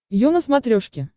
ю на смотрешке